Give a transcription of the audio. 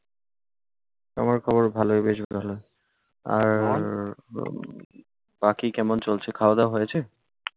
আমার খবরও ভালোই। বেশ ভালো। আর বাকি কেমন চলছে? খাওয়া-দাওয়া হয়েছে?